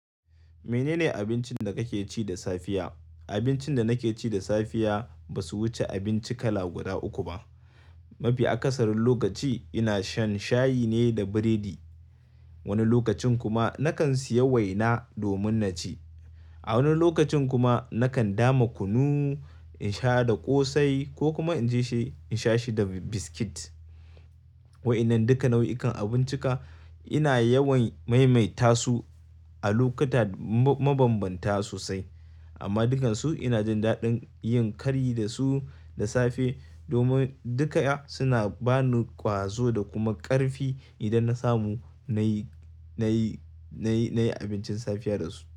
Menene abincin da kake ci da safiya? Abincin da nake ci da safiya ba su wuce abinci kala guda uku ba. Mafi akasarin lokaci ina shan shayi ne da biredi. Wani lokacin kuma nakan siya waina domin na ci. A wani lokacin kuma nakan dama kunu in sha da ƙosai ko kuma in je shi in sha shi da biskit. Wa'inan duka nau'ikan abuncinka ina yawan maimaita su a lokuta mabambanta sosai amma dukansu ina jin daɗin yin kari da su da safe domin duka suna ba ni ƙwazo da kuma ƙarfi idan na samu na yi, na yi, na yi, na yi abincin safiya da su.